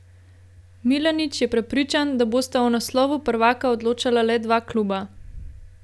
Milanič je prepričan, da bosta o naslovu prvaka odločala le dva kluba.